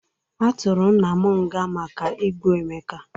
A tụrụ nna m nga maka igbu Emeka.